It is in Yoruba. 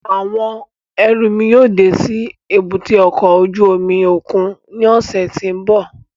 Awọn ẹru mi yóò de si èbúté ọkọ ojú omi okun ni ọsẹ ti n bọ